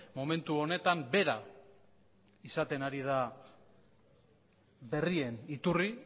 momentu honetan bera izaten ari da berrien iturri